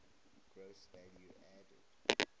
gross value added